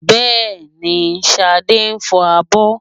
Bẹ́ẹ̀ni, Ṣadé ń fọ abọ́